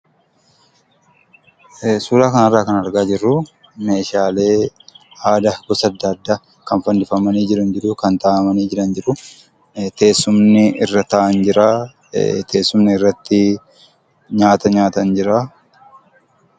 Suuraa kana irraa kan argaa jirru meeshaalee aadaa gosa adda addaa kan fannifamanii jiran jiru. Kan kaa'amanii jiran jiru. Teessumni irra taa'an jira. Teessumni irratti nyaata nyaatan jira.